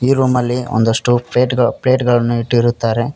ಈ ರೂಮಲ್ಲಿ ಒಂದಷ್ಟು ಪ್ಲೇಟ್ ಗಳು ಪ್ಲೇಟ್ ಗಳನ್ನು ಇಟ್ಟಿರುತ್ತಾರೆ.